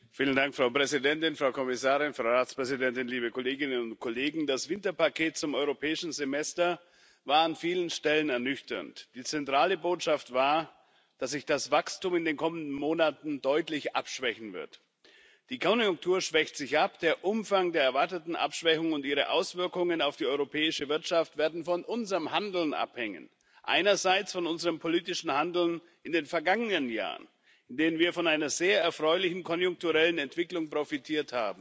Frau Präsidentin, Frau Kommissarin, Frau Ratspräsidentin, liebe Kolleginnen und Kollegen, das Winterpaket zum europäischen Semester war an vielen Stellen ernüchternd. Die zentrale Botschaft war, dass sich das Wachstum in den kommenden Monaten deutlich abschwächen wird. Die Konjunktur schwächt sich ab, der Umfang der erwarteten Abschwächung und ihre Auswirkungen auf die europäische Wirtschaft werden von unserem Handeln abhängen einerseits von unserem politischen Handeln in den vergangenen Jahren, in denen wir von einer sehr erfreulichen konjunkturellen Entwicklung profitiert haben,